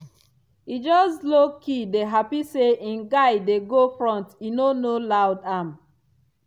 e just lowkey dey happy say im guy dey go front e no no loud am.